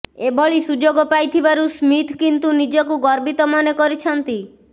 ଏଭଳି ସୁଯୋଗ ପାଇଥିବାରୁ ସ୍ମିଥ୍ କିନ୍ତୁ ନିଜକୁ ଗର୍ବିତ ମନେ କରିଛନ୍ତି